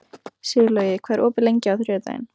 Sigurlogi, hvað er opið lengi á þriðjudaginn?